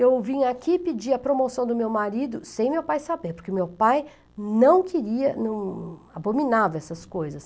Eu vim aqui pedir a promoção do meu marido sem meu pai saber, porque meu pai não queria, não abominava essas coisas.